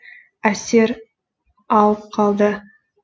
әсер алып қалды